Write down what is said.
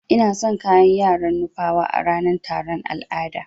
Ina son kayan yaran nupawa a ranan taron al'ada.